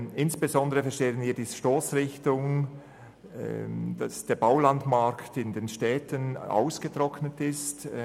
Insbesondere verstehen wir die Stossrichtung insofern, als der Baulandmarkt in den Städten ausgetrocknet ist.